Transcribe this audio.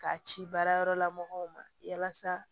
K'a ci baarayɔrɔla mɔgɔw ma yalasa